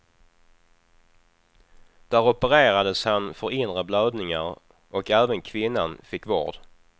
Där opererades han för inre blödningar och även kvinnan fick vård.